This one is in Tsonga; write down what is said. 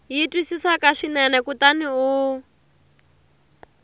yi twisisaka swinene kutani u